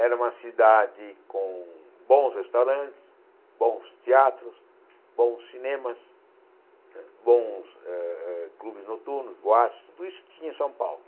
Era uma cidade com bons restaurantes, bons teatros, bons cinemas, bons eh eh clubes noturnos, boates, tudo isso tinha em São Paulo.